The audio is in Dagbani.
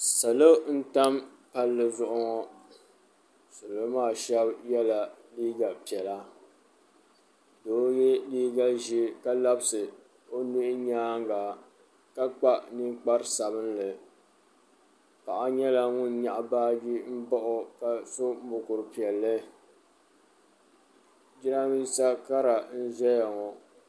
Salo n tam palli zuɣu ŋo salo maa shab yɛla liiga piɛla doo yɛ liiga ʒiɛ ka labisi o nuhi nyaanga ka kpa ninkpari sabinli paɣa nyɛla ŋun nyaɣi baaji n bao ka so mokuru piɛlli jiranbiisa kara n ʒɛya ŋo